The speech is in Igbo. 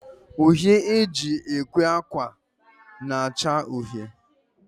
Uhie e ji ekwe akwa na-acha uhie